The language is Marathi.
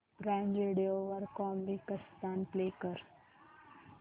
प्राईम व्हिडिओ वर कॉमिकस्तान प्ले कर